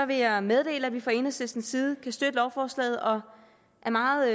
vil jeg meddele at vi fra enhedslistens side kan støtte lovforslaget og er meget